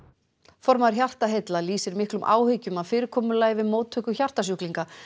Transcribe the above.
formaður Hjartaheilla lýsir miklum áhyggjum af fyrirkomulagi við móttöku hjartasjúklinga